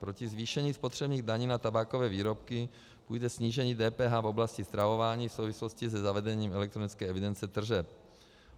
Proti zvýšení spotřebních daní na tabákové výrobky půjde snížení DPH v oblasti stravování v souvislosti se zavedením elektronické evidence tržeb.